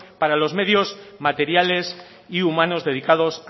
para los medios materiales y humanos dedicados